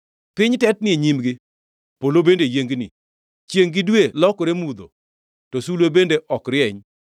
Piny tetni e nyimgi, polo bende yiengni, chiengʼ gi dwe lokore mudho, to sulwe bende ok rieny.